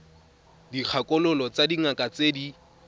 dikgakololo tsa dingaka tse di